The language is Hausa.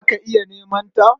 Za ka iya neman ta.